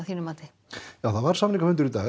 já það var samningafundur í dag